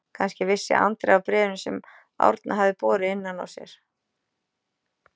Kannski vissi Andrea af bréfinu sem Árni hafði borið innan á sér.